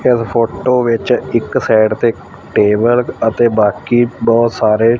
ਇਸ ਫੋਟੋ ਵਿੱਚ ਇੱਕ ਸਾਈਡ ਤੇ ਟੇਬਲ ਅਤੇ ਬਾਕੀ ਬਹੁਤ ਸਾਰੇ--